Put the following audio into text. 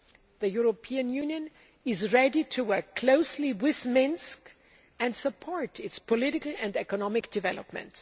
The European Union is ready to work closely with Minsk and support its political and economic development.